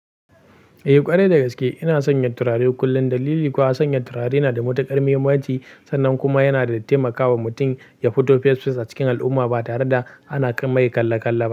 Eh ƙwarai dagaske ina sanya turare kullum. Dalili kuwa sanya turare na da mutukar muhimmanci sannan kuma yana da taimakawa mutum ya fito fes fes a cikin al'umma ba tare da ana kan mai kalle kalle ba.